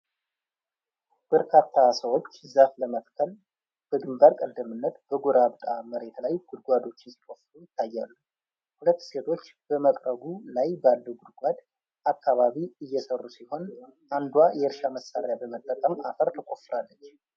በርካታ ሰዎች ዛፍ ለመትከል በግንባር ቀደምትነት በጎርባጣ መሬት ላይ ጉድጓዶችን ሲቆፍሩ ይታያሉ። ሁለት ሴቶች በመቅረቡ ላይ ባለው ጉድጓድ አካባቢ እየሰሩ ሲሆን አንዷ የእርሻ መሳሪያ በመጠቀም አፈር ትቆፍራለች።